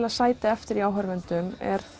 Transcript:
að sitji eftir í áhorfendum er